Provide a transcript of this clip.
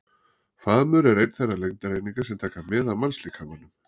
Faðmur er ein þeirra lengdareininga sem taka mið af mannslíkamanum.